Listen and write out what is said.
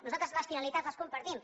nosaltres les finalitats les compartim